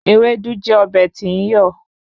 Ewédú jẹ́ ọbẹ̀ tí ń yọ̀